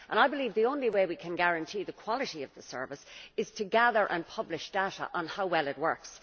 I believe the only way we can guarantee the quality of the service is to gather and publish data on how well it works.